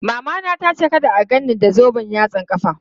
Mamana tace kada a gan ni da zoben yatsan ƙafa.